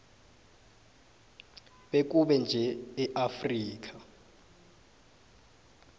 bekube nje eafrika